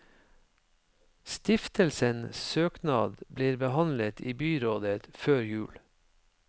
Stiftelsen søknad blir behandlet i byrådet før jul.